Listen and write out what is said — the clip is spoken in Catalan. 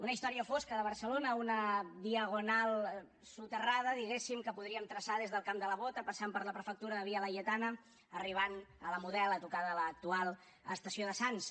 una història fosca de barcelona una diagonal soterrada diguéssim que podríem traçar des del camp de la bota passant per la prefectura de via laietana arribant a la model a tocar de l’actual estació de sants